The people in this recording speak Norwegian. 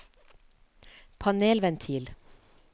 panelventil